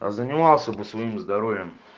а занимался бы своим здоровьем